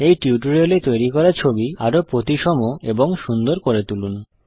এই টিউটোরিয়াল এ তৈরি করা ছবি আরো প্রতিসম এবং সুন্দর করে তুলুন